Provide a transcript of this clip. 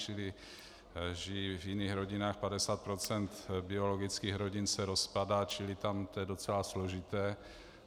Čili žijí v jiných rodinách, 50 % biologických rodin se rozpadá, čili tam je to docela složité.